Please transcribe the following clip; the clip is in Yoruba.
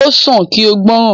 O san ki o gbọ́ràn.